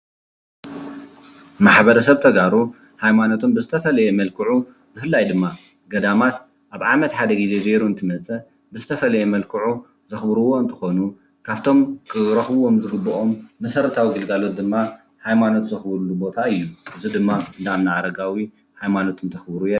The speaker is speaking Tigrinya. ማሕበረሰብ ተጋሩ ሃይማኖቶም ብዝተፈለየ መልክዑ ብፍላይ ድማ ገዳማት ኣብ ዓመት ሓደ ግዜ ዘይሩ እንትመፅእ ብዝተፈለየ መልክዑ ዘክብርዎ እንትኾኑ ካፍቶም ክረክብዎም ዝግበኦም መሰረታዊ ግልጋሎት ድማ ሃይማኖት ዘክብርሉ ቦታ እዩ። እዚ ድማ እንዳ ኣብነ ኣረጋዊ ሃይማኖት እንተክብሩ የርኢ።